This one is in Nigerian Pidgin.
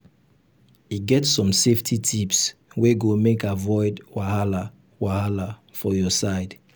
e get some safety tips wey go make avoid wahala wahala for your side.